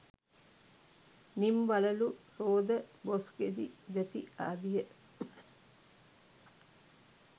නිම් වළලු, රෝද, බොස්ගෙඩි, දැති ආදිය